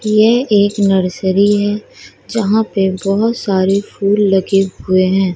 ये एक नर्सरी है जहां पे बहुत सारे फूल लगे हुए हैं।